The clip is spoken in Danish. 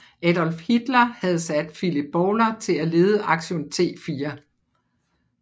Adolf Hitler havde sat Philipp Bouhler til at lede Aktion T4